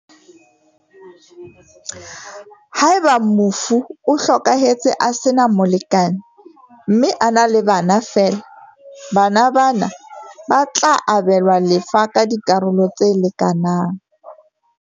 Haeba mofu o hlokahetse a sena molekane mme a na le bana feela, bana ba na ba tla abelwa lefa ka dikaralo tse lekanang.